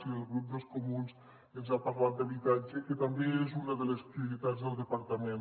i el grup dels comuns ens ha parlat d’habitatge que també és una de les prioritats del departament